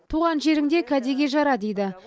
туған жеріңде кәдеге жара дейді